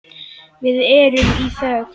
Við erum í þögn.